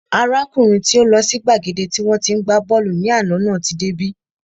Arákùnrin tí ó lọ sí gbàgede tí wọ́n tí ń gbá bọ́ọ̀lù ní àná náà tí dé bí